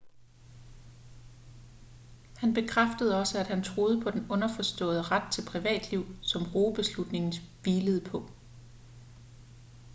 han bekræftede også at han troede på den underforståede ret til privatliv som roe-beslutningen hvilede på